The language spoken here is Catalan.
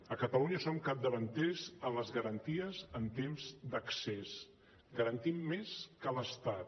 a catalunya som capdavanters en les garanties en temps d’accés garantim més que l’estat